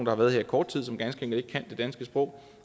har været her i kort tid som ganske enkelt ikke kan det danske sprog